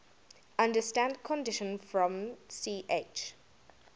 under standard conditions from ch